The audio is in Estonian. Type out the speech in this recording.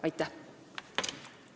Aitäh!